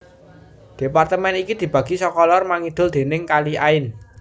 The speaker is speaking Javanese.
Departemen iki dibagi saka lor mangidul déning Kali Ain